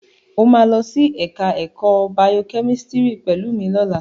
Ó máa lọ ẹ̀ka ẹ̀kọ́ bayokẹ́mísítírì pẹ̀lú mi lọ́la.